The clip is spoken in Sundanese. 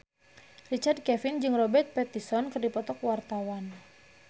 Richard Kevin jeung Robert Pattinson keur dipoto ku wartawan